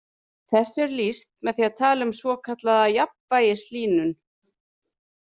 Þessu er lýst með því að tala um svokallaða jafnvægishlýnun.